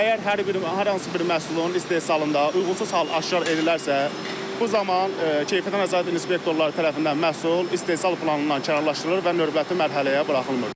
Əgər hər hansı bir məhsulun istehsalında uyğunsuz hal aşkar edilərsə, bu zaman keyfiyyətə nəzarət inspektorları tərəfindən məhsul istehsal planından kənarlaşdırılır və növbəti mərhələyə buraxılmır.